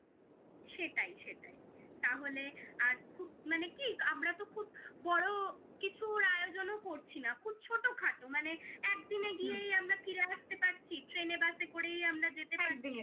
সেটাই সেটাই তাহলে আর খুব মানে কি আমরা তো খুব বড় কিছুর আয়োজনও করছি না খুব ছোট খাটো মানে একদিনে গিয়েই আমরা ফিরে আসতে পারছি train এ বাসে করেই আমরা যেতে পারছি